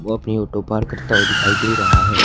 वो अपनी auto park करता हुआ दिखाई दे रहा है।